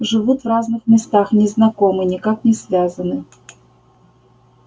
живут в разных местах не знакомы никак не связаны